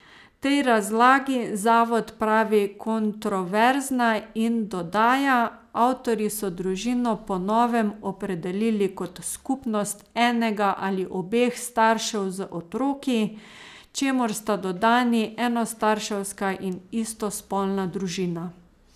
Tej razlagi Zavod pravi 'kontroverzna' in dodaja: 'Avtorji so družino po novem opredelili kot 'skupnost enega ali obeh staršev z otroki', čemur sta dodani enostarševska in istospolna družina.